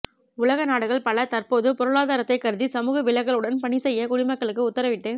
உலக நாடுகள் பல தற்போது பொருளாதாரத்தை கருதி சமூக விலகலுடன் பணிசெய்ய குடிமக்களுக்கு உத்தரவிட்டு